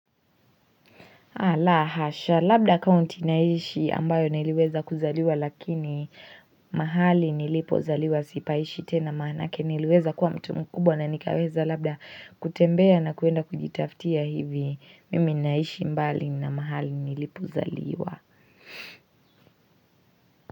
Ala hasha, labda kaunti naishi ambayo niliweza kuzaliwa lakini mahali nilipo zaliwa sipaishi tena maanake niliweza kuwa mtu mkubwa na nikaweza labda kutembea na kuenda kujitafutia hivi, mimi naishi mbali na mahali nilipo zaliwa.